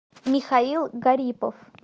михаил гарипов